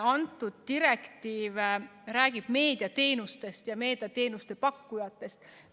Kõnealune direktiiv räägib meediateenustest ja meediateenuste pakkujatest.